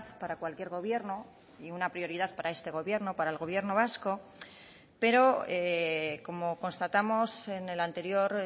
para cualquier gobierno y una prioridad para este gobierno para el gobierno vasco pero como constatamos en el anterior